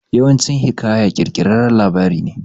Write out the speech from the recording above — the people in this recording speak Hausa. Yawancin hiƙaya kirkirarren labari ne